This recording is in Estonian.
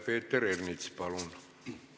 Peeter Ernits, palun!